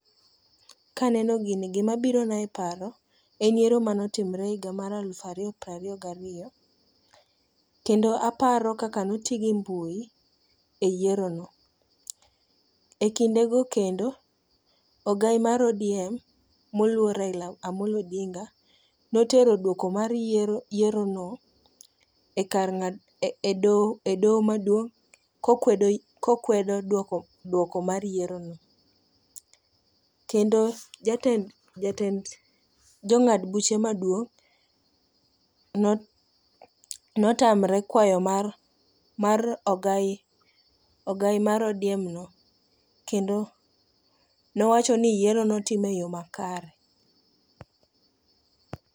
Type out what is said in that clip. Ka aneno gini, gima birona e paro en yiero mane otimore e higa alufu ariyo piero ariyo gi ariyo kendo aparo kaka ne oti gi mbui e yierono. Ekindego kendo, ogai mar ODM moluor Raila Amolo Odinga ne otero duoko mar yierono ekar ng'ado edoho doho maduong' kokwedo kokwedo duoko mar yierono. Kendo jatend jatend jong'ad buche maduong' notamre kwayo mar ogai mar ODM no kendo ne owacho ni yiero ne otim eyoo makare.